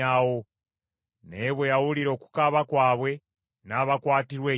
Naye bwe yawulira okukaaba kwabwe, n’abakwatirwa ekisa;